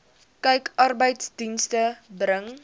kyk arbeidsdienste bring